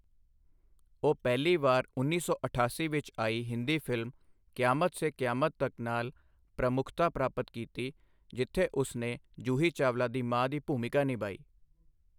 ਉਹ ਪਹਿਲੀ ਵਾਰ ਉੱਨੀ ਸੌ ਅਠਾਸੀ ਵਿੱਚ ਆਈ ਹਿੰਦੀ ਫਿਲਮ ਕਿਆਮਤ ਸੇ ਕਿਆਮਤ ਤਕ ਨਾਲ ਪ੍ਰਮੁੱਖਤਾ ਪ੍ਰਾਪਤ ਕੀਤੀ ਜਿੱਥੇ ਉਸਨੇ ਜੂਹੀ ਚਾਵਲਾ ਦੀ ਮਾਂ ਦੀ ਭੂਮਿਕਾ ਨਿਭਾਈ।